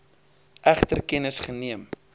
egter kennis geneem